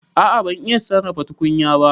A'a ban iya sarrafa tukunya ba.